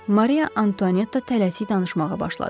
Mariya Antuanetta tələsi danışmağa başladı.